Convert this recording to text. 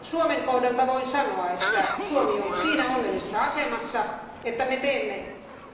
Suomen osalta voin sanoa, että Suomi on siinä onnellisessa asemassa, että me teemme